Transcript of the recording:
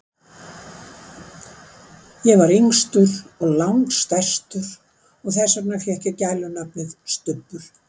Ég var yngstur og lang stærstur og þess vegna fékk ég gælunafnið, Stubbur.